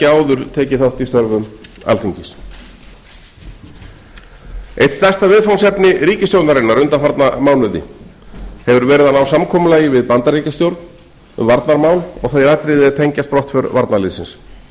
áður tekið þátt í störfum alþingis eitt stærsta viðfangsefni ríkisstjórnarinnar undanfarna mánuði hefur verið að ná samkomulagi við bandaríkjastjórn um varnarmál og þau atriði er tengjast brottför varnarliðsins óhætt